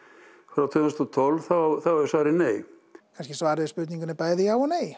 frá tvö þúsund og tólf þá er svarið nei kannski er svarið við spurningunni bæði já og nei